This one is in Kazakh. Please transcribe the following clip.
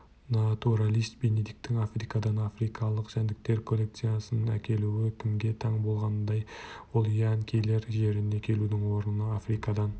натуралист бенедикттің африкадан африкалық жәндіктер коллекциясын әкелуі кімге таң болғандай ол янкилер жеріне келудің орнына африкадан